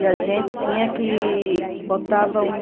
E a gente tinha que... botava um...